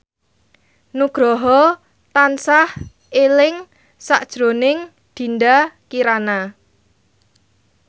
Nugroho tansah eling sakjroning Dinda Kirana